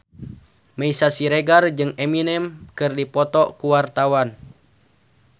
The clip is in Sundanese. Meisya Siregar jeung Eminem keur dipoto ku wartawan